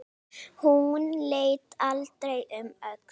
Hún leit aldrei um öxl.